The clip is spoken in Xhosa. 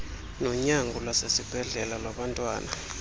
nonyango lwasesibhedlele lwabantwana